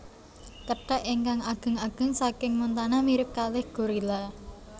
Kethek ingkang ageng ageng saking Montana mirip kalih gorila